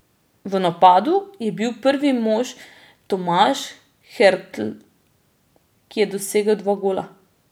V napadu je bil prvi mož Tomaš Hertl, ki je dosegel dva gola.